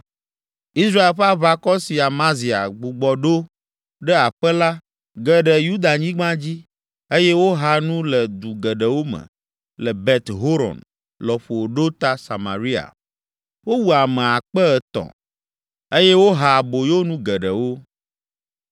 Israel ƒe aʋakɔ si Amazia gbugbɔ ɖo ɖe aƒe la, ge ɖe Yudanyigba dzi eye woha nu le du geɖewo me le Bet Horon lɔƒo ɖo ta Samaria. Wowu ame akpe etɔ̃ (3,000) eye woha aboyonu geɖewo.